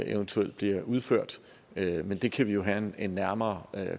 eventuelt bliver udført men det kan vi jo have en nærmere